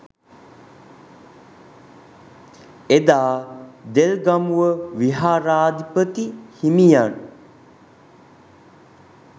එදා දෙල්ගමුව විහාරාධිපති හිමියන්